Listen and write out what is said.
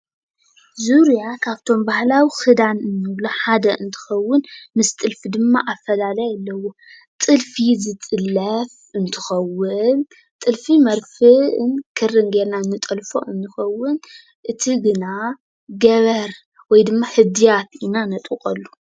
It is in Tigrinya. ዙርያ ካብቶም ባህላዊ ክዳን እንብሎ ሓደ እንትኸውን ምስ ጥልፊ ድማ ኣፈላላይ ኣለዎ፡፡ ጥልፊ ዝጥለፍ እንትኸውን ጥልፊ መርፍእን ክርን ጌርና እንጠልፎ ንኸውን፡፡ እቲ ግና ገበር ወይ ድማ ሕድያት ኢና ነጥብቐሉ፡፡